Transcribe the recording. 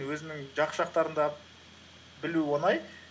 өзіңнің жақсы жақтарын да білу оңай